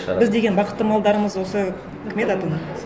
біз деген бақытты малдармыз осы кім еді аты